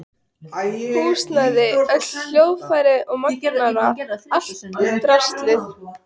Húsnæði, öll hljóðfæri og magnara, allt draslið.